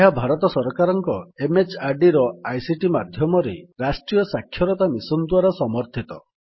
ଏହା ଭାରତ ସରକାରଙ୍କ MHRDର ଆଇସିଟି ମାଧ୍ୟମରେ ରାଷ୍ଟ୍ରୀୟ ସାକ୍ଷରତା ମିଶନ୍ ଦ୍ୱାରା ସମର୍ଥିତ